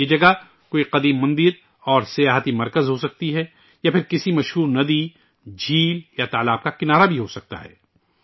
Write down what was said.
یہ جگہ کوئی قدیم مندر اور سیاحتی مرکز ہوسکتا ہے، یا پھر ،کسی معروف ندی، جھیل یا تالاب کا کنارہ بھی ہوسکتا ہے